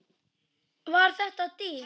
Var þetta dýrt?